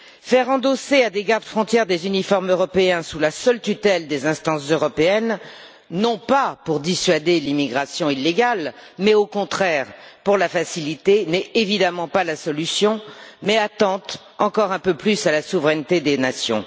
Faire endosser à des garde frontières des uniformes européens sous la seule tutelle des instances européennes, non pas pour dissuader l'immigration illégale, mais, au contraire, pour la faciliter n'est évidemment pas la solution, mais attente encore un peu plus à la souveraineté des nations.